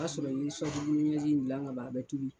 O y'a sɔrɔ gilan ka ban. A bɛɛ tulu.